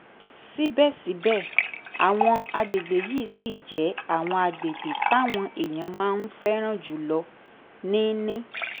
síbẹ̀síbẹ̀ àwọn àgbègbè yìí ṣì jẹ́ àwọn àgbègbè táwọn èèyàn máa ń fẹ́ràn jù lọ ní ní